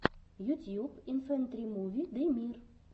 ютьюб инфэнтримуви дэмир